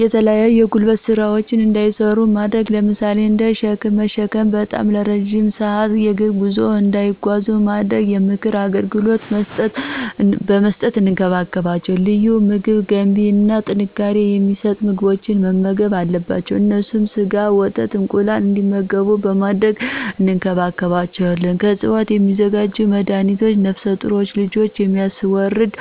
የተለያዩ የጉልበት ስራዎችን እንዳይሰሩ በማድረግ ለምሳሌ እንደ ሽክም መሽከም፥ ባጣም እረዥም ስአት የግር ጉዞ እንዳይጓዙ በማድረግ፣ የምክር አገልግሎት በመስጠት እንከባከባቸዋለን። ልዩ ምግብ ገንቢ እና ጥንካሬ የማሰጡ ምግቦችን መመገብ አለባቸው። እነሱም ሰጋ፣ ወተት፣ እንቁላል እንግዲመጉቡ በማድረግ እንከባክቤቸዌለን። ከዕፅዋት የሚዘጋጅ መድሀኒት ነፍሰጡሮች ልጅ የሚያስወርድ